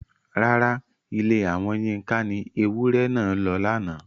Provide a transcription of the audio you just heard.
Rárá, Ilé àwọn Yinka ni ewúrẹ́ náà lọ lánàá.